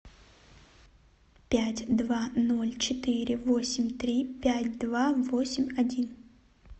пять два ноль четыре восемь три пять два восемь один